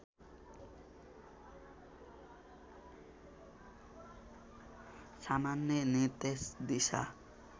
सामान्य निर्देश दिशा